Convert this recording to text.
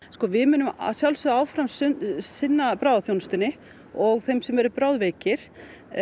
við munum að sjálfsögðu áfram sinna bráðaþjónustunni og þeim sem eru bráðveikir